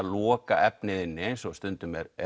loka efnið inni eins og stundum er